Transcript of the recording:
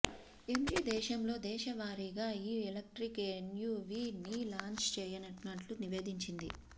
MG దేశంలో దశలవారీగా ఈ ఎలక్ట్రిక్ ఎస్యూవీ ని లాంచ్ చేయనున్నట్లు నివేదించింది